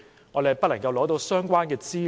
是否不能取得相關的資料？